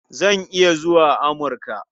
Zan iya zuwa Amurka.